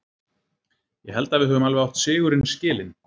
Ég held að við höfum alveg átt sigurinn skilinn.